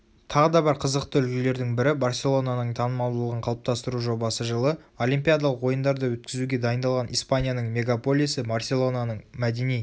тағы да бір қызықты үлгілердің бірі барселонаның танымалдығын қалыптастыру жобасы жылы олимпиядалық ойындарды өткізуге дайындалған испанияның мегаполисы барселонаның мәдени